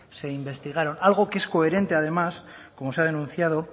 se investigaron algo que es coherente además como se ha denunciado